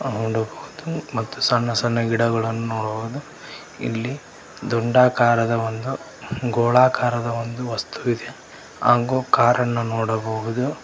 ನೋಡಬಹುದು ಮತ್ತು ಸಣ್ಣ ಸಣ್ಣ ಗಿಡಗಳನ್ನು ನೋಡಬಹುದು ಇಲ್ಲಿ ದುಂಡಾಕಾರದ ಒಂದು ಗೋಳಾಕಾರದ ಒಂದು ವಸ್ತುವಿದೆ ಅಂಗು ಕಾರ ನ್ನ ನೋಡಬಹುದು.